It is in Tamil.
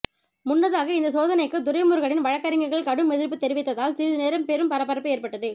முன்னதாக இந்த சோதனைக்கு துரைமுருகனின் வழக்கறிஞர்கள் கடும் எதிர்ப்பு தெரிவித்ததால் சிறிது நேரம் பெரும் பரபரப்பு ஏற்பட்டது